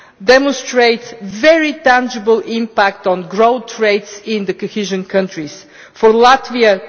demonstrates a very tangible impact on growth rates in cohesion countries for Latvia,